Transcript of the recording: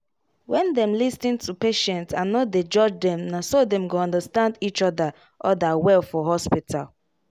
when them lis ten to patient and no dey judge them naso dem go understand each other other well for hospital